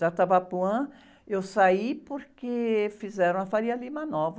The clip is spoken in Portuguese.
Da Tabapuã eu saí porque fizeram a Faria Lima Nova.